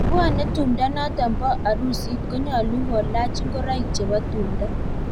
Chepwone tumdo notok bo arusit konyalu kolach ingoroik chebo tumdo .